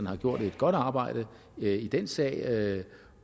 har gjort et godt arbejde i den sag